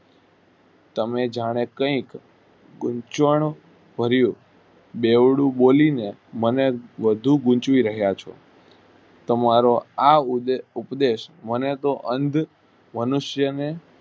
તમને જયારે કઇ ગુમસન કરિયું બેવડું બોલી ને મને વધુ ગુંચવી રહ્યા છો તમારો આ ઉપદેશ મને તો અંધ મનુષ્યો ને